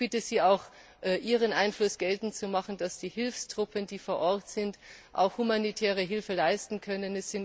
Ich bitte Sie auch, Ihren Einfluss geltend zu machen, dass die Hilfstruppen, die vor Ort sind, humanitäre Hilfe leisten können.